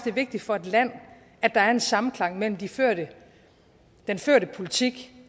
er vigtigt for et land at der er en samklang mellem den førte den førte politik